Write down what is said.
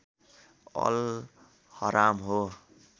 all हराम हो